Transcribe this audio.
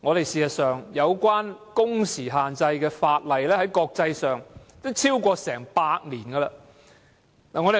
事實上，有關工時限制的法例在國際上已訂立超過100年。